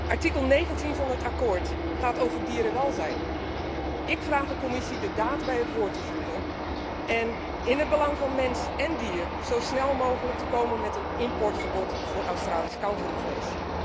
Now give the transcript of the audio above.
Artikel 19 van dat akkoord gaat over dierenwelzijn. Ik vraag de Commissie de daad bij het woord te voegen en in het belang van mens en dier zo snel mogelijk te komen met een importverbod voor Australisch kangoeroevlees.